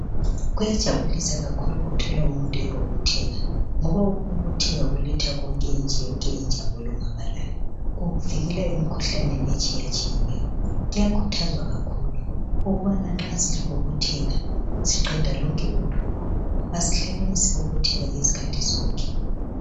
Kuyajabulisa kakhulu ukuthola umuntu ebonotheka ngoba ukubobotheka kuletha konke nje yonke injabulo kukuvikela emikhuhlaneni etshiyatshiyeneyo kuyakhuthazwa kakhulu ukubana nxa sesibobotheka siqeda lonke udubo asihlekeni sibobotheke izikhathi zonke.